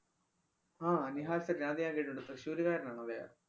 ആഹ് നിഹാല്‍ സരീം, അത് ഞാന്‍ കേട്ടിട്ടുണ്ട്. തൃശൂര്കാരനാണ് അദ്ദേഹം.